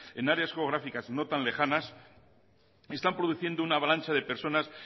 en áreas geográficas no tan lejanas están produciendo una avalancha de personas